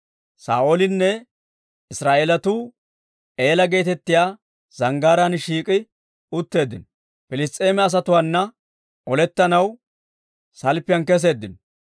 Saa'oolinne Israa'eelatuu Eela geetettiyaa zanggaaraan shiik'i utteeddino; Piliss's'eema asatuwaana olettanaw salppiyaan keseeddino.